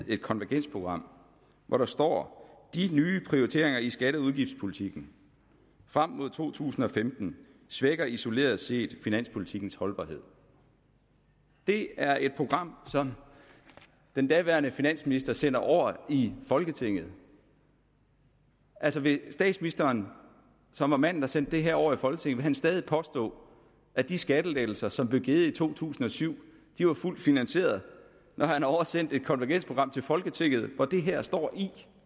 et konvergensprogram hvor der står de nye prioriteringer i skatte og udgiftspolitikken frem mod to tusind og femten svækker isoleret set finanspolitikkens holdbarhed det er et program som den daværende finansminister sender over i folketinget altså vil statsministeren som er manden der sendte det her over i folketinget stadig påstå at de skattelettelser som blev givet i to tusind og syv var fuldt finansierede når han har oversendt et konvergensprogram til folketinget hvori det her står